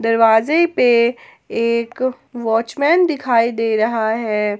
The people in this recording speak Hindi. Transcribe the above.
दरवाजे पे एक वॉचमैन दिखाई दे रहा है।